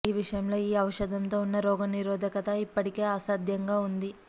ఈ విషయంలో ఈ ఔషధంతో ఉన్న రోగనిరోధకత ఇప్పటికే అసాధ్యంగా ఉంది